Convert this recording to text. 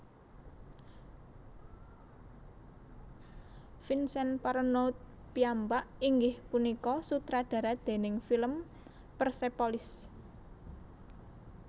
Vincen Parronaud piyambak inggih punika sutradara déning film Persepolis